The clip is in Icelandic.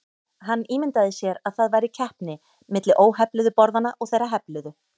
Hann ímyndaði sér að það væri keppni milli óhefluðu borðanna og þeirra hefluðu.